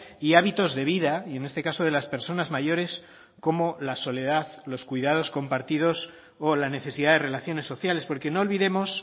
y hábitos de vida y en este caso de las personas mayores como la soledad los cuidados compartidos o la necesidad de relaciones sociales porque no olvidemos